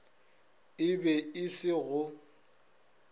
e be e se go